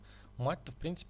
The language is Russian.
мать то в принцип